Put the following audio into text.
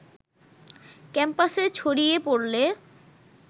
ক্যাম্পাসে ছড়িয়ে পড়লে